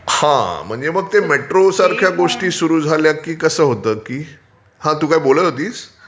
हा म्हणजे मग मेट्रो सारख्या गोष्टी सुरू झाल्या की कसं होतं की... हा तू काय बोलत होतीस?